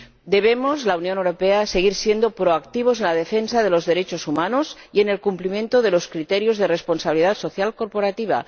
Debemos ―la Unión Europea― seguir siendo proactivos en la defensa de los derechos humanos y en el cumplimiento de los criterios de responsabilidad social corporativa.